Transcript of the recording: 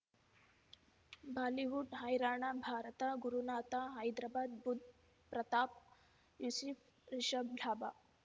Bollywood ಹೈರಾಣ ಭಾರತ ಗುರುನಾಥ ಹೈದರಾಬಾದ್ ಬುಧ್ ಪ್ರತಾಪ್ ಯೂಸುಫ್ ರಿಷಬ್ ಲಾಭ